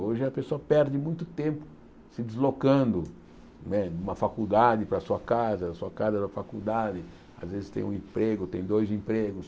Hoje a pessoa perde muito tempo se deslocando né de uma faculdade para a sua casa, da sua casa para a faculdade, às vezes tem um emprego, tem dois empregos.